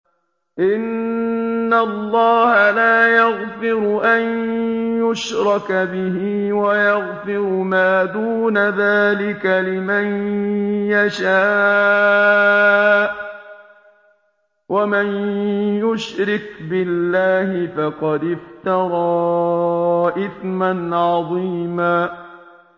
إِنَّ اللَّهَ لَا يَغْفِرُ أَن يُشْرَكَ بِهِ وَيَغْفِرُ مَا دُونَ ذَٰلِكَ لِمَن يَشَاءُ ۚ وَمَن يُشْرِكْ بِاللَّهِ فَقَدِ افْتَرَىٰ إِثْمًا عَظِيمًا